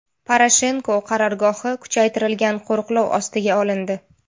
Poroshenko qarorgohi kuchaytirilgan qo‘riqlov ostiga olindi.